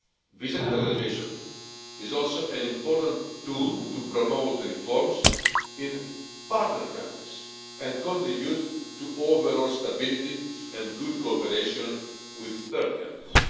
Visa liberalisation is also an important tool to promote reforms in partner countries and contribute to overall stability and good cooperation with third countries.